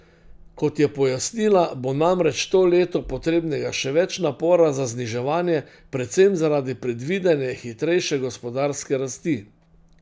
Kot je pojasnila, bo namreč to leto potrebnega še več napora za zniževanje, predvsem zaradi predvidene hitrejše gospodarske rasti.